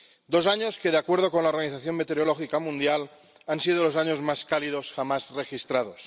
Dos años que, de acuerdo con la Organización Meteorológica Mundial, han sido los años más cálidos jamás registrados.